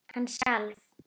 Hann skalf.